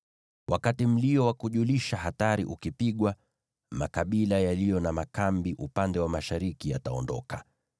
Wakati mlio wa kujulisha hatari ukipigwa, makabila yaliyo na makambi upande wa mashariki yataondoka.